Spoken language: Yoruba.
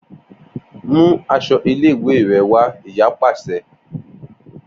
Mu aṣọ ile-iwe rẹ wa iya paṣẹ